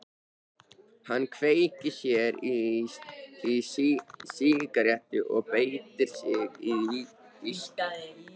Hann kveikir sér í sígarettu og bætir á sig viskíi.